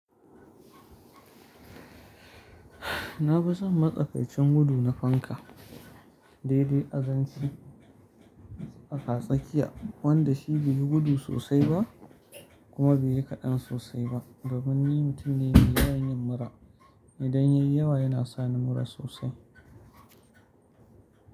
Na fi son matsakaicin gudu na fanka. Daidai azanci a tsakatsakiya wanda shi bai yi gudu sosai ba kuma bai yi kaɗan sosai ba. Domin ni mutum ne da ya iya yin mura. Idan ya yi yawa yana sani mura sosai.